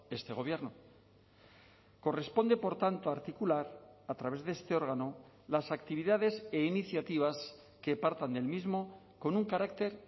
este gobierno corresponde por tanto articular a través de este órgano las actividades e iniciativas que partan del mismo con un carácter